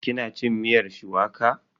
Ki na cin miyar shuwaka?